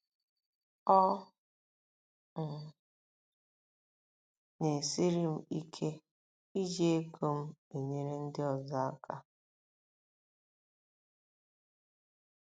Ọ um ̀ na - esiri m ike iji ego m enyere ndị ọzọ aka?